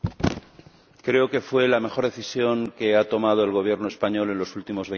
Creo que fue la mejor decisión que ha tomado el Gobierno español en los últimos veinte años.